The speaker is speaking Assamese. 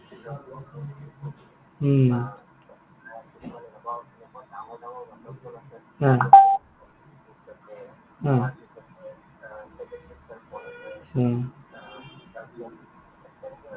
উম অ। অ। উম